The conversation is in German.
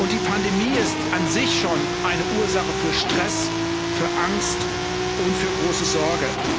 Die Pandemie ist an sich schon eine Ursache für Stress, für Angst und für große Sorge.